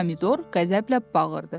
Pomidor qəzəblə bağırdı.